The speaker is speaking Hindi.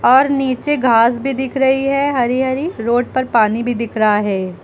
और नीचे घास भी दिख रही है हरी हरी रोड पर पानी भी दिख रहा है।